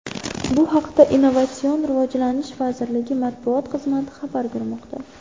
Bu haqda Innovatsion rivojlanish vazirligi matbuot xizmati xabar bermoqda .